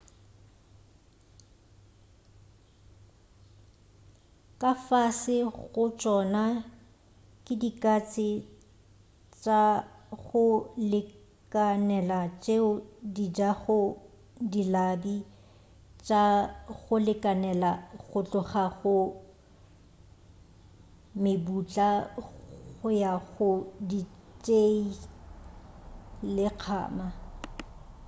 ka fase ga tšona ke dikatse tša go lekanela tšeo dijago dilabi tša go lekanela go tloga go mebutla go ya go ditšei le kgama